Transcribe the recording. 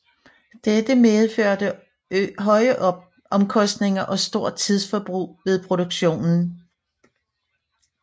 Dette medførte høje omkostninger og stort tidsforbrug ved produktionen